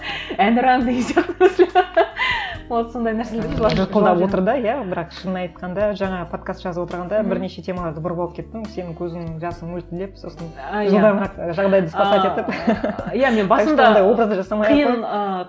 і әнұран деген сияқты вот сондай нәрсеге отыр да иә бірақ шынын айтқанда жаңағы подкаст жазып отырғанда бірнеше темаларды бұрып алып кеттің сенің көзің жасың мөлтілдеп сосын